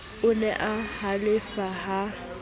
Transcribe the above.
o ne a halefa ha